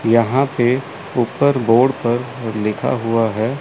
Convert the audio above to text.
यहां पे उपर बोर्ड पर लिखा हुआ है।